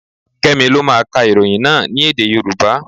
Kẹ́mi lọ máa ka ìròyìn náà ní èdè Yorùbá.